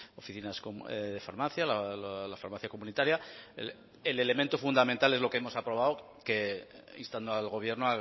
oficinas de farmacia la farmacia comunitaria el elemento fundamental es lo que hemos aprobado que instando al gobierno